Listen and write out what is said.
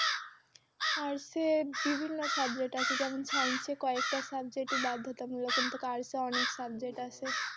Arts এ বিভিন্ন subject আছে যেমন science এ কয়েকটা subject ই বাধ্যতামূলক কিন্তু arts এ অনেক subject আছে